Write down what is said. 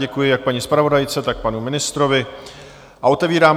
Děkuji jak paní zpravodajce, tak panu ministrovi a otevírám